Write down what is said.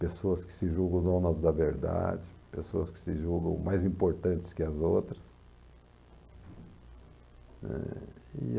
Pessoas que se julgam donas da verdade, pessoas que se julgam mais importantes que as outras. Eh.. e